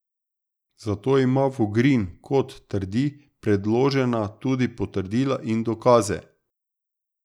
Za to ima Vogrin, kot trdi, predložena tudi potrdila in dokaze.